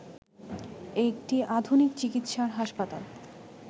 একটি আধুনিক চিকিৎসার হাসপাতাল